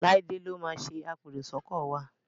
Laide ló má ṣe apẹ èrò sóko wá.